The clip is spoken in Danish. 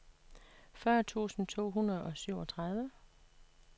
fyrre tusind to hundrede og syvogtredive